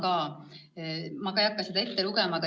Ma ei hakka seda küsimust ette lugema.